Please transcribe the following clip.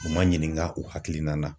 U ma ɲininka u hakilina na.